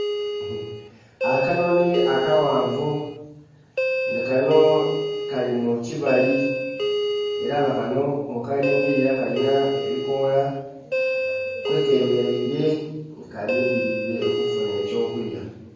Akanoni akaghanvu, nga kano kali mu kibali ere nga kano bwokalingirira kalina ebikoola kwekemeraile nga kalindhirire okufunha ekyokulya.